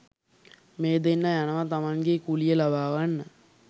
මේ දෙන්න යනවා තමන්ගේ කුලිය ලබා ගන්න